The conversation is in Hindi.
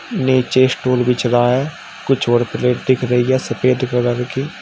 नीचे स्टूल बिछ रहा है कुछ और प्लेट दिख रही है सफेद कलर की--